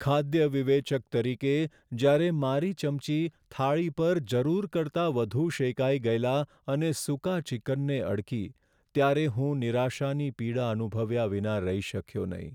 ખાદ્ય વિવેચક તરીકે, જ્યારે મારી ચમચી થાળી પર જરૂર કરતાં વધુ શેકાઈ ગયેલા અને સૂકા ચિકનને અડકી ત્યારે હું નિરાશાની પીડા અનુભવ્યા વિના રહી શક્યો નહીં.